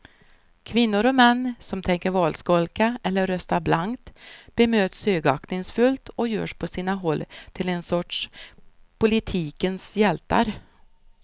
Kvinnor och män som tänker valskolka eller rösta blankt bemöts högaktningsfullt och görs på sina håll till en sorts politikens hjältar.